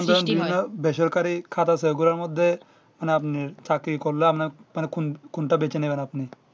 সৃষ্টি হয় ধরলেও বেসরকারি খাত আছে গুলার মধ্যে মানে আপনি চাকরি করলে আপনার মানে কোন কোনটা বেছে নেবেন আপনি